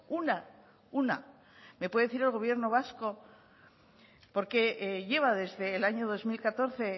una una me puede decir el gobierno vasco por qué lleva desde el año dos mil catorce